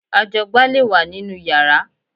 Ajọgbá lè wà nínú yàrá